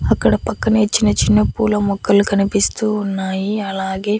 అక్కడ పక్కనే చిన్న చిన్న పూల మొక్కలు కనిపిస్తూ ఉన్నాయి అలాగే.